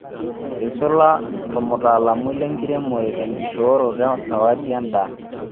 Eisula ormutaalamui lenkiremore tenkishooroto esawadi endaa